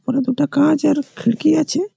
ওটা দুটা কাঁচ আর খিড়কি আছে--